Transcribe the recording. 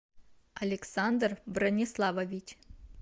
александр брониславович